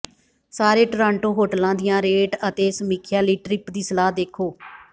ਸਾਰੇ ਟੋਰਾਂਟੋ ਹੋਟਲਾਂ ਦੀਆਂ ਰੇਟ ਅਤੇ ਸਮੀਖਿਆ ਲਈ ਟ੍ਰਿੱਪ ਦੀ ਸਲਾਹ ਦੇਖੋ